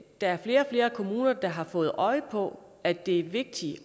der er flere og flere kommuner der har fået øje på at det er vigtigt